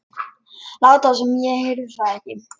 Láta sem ég heyrði það ekki.